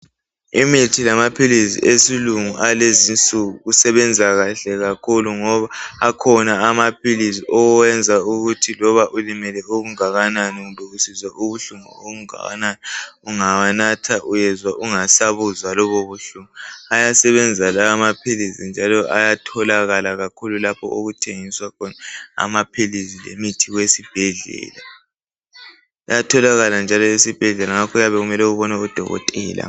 Imithi lamaphilisi esilungu awalezinsuku usebenza kahle kakhulu ngoba akhona amaphilisi okwenza ukuthi loba ulimele okungakanani kumbe usizwa ubuhlungu obungakanani ungawanatha uyezwa ungasabuzwa lobo buhlungu. Ayasebenza lawa amaphilisi njalo ayatholakala kakhulu lapho okuthengiswa khona amaphilisi lemithi yesibhedlela. Ayatholakala njalo esibhedlela ngakho kuyabe kumele ubone udokotela.